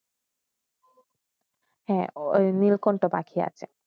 হয়ে নীলকন্ঠ পাখি আছে